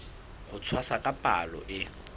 ho tshwasa ka palo e